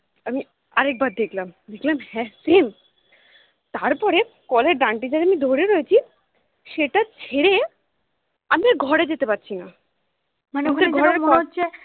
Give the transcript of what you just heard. আমি আরেকবার দেখলাম দেখলাম হ্যাঁ same তারপরে কলের ডান্ডি টা যে আমি ধরে রয়েছি সেটা ছেড়ে আমি আর ঘরে যেতে পারছি না